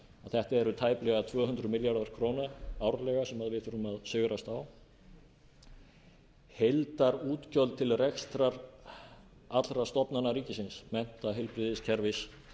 þetta eru tæplega tvö hundruð milljarðar króna árlega sem við þurfum að sigrast á heildarútgjöld til rekstrar allra stofnana rikisins mennta heilbrigðiskerfis